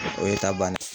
O ye ta bannen ye